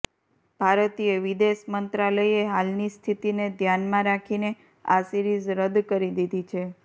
ભારતીય વિદેશ મંત્રાલયે હાલની સ્થિતિને ધ્યાનમાં રાખીને આ સિરીઝ રદ કરી દીધી છે